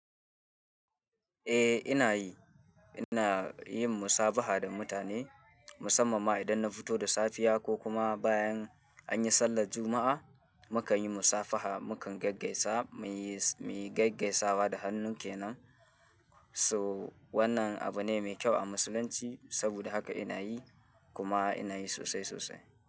Eh ina yi, ina yin musabaha da mutane musamman ma idan na fito da safiya ko kuma bayan anyi sallar Juma'a. Mukanyi musafaha, mukan gaggaisa, muyi, muyi gaggaisawa da hannu kenan. So wannan abu ne mai kyau a musulunci saboda haka ina yi kuma ina yi sosai sosai.